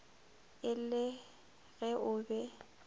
e le ge o be